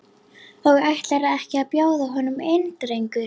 Og ætlarðu ekki að bjóða honum inn drengur?